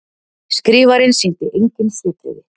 Skrifarinn sýndi engin svipbrigði.